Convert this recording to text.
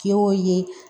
Kɛ o ye